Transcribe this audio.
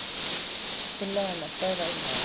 Tillaga um að stöðva umræður.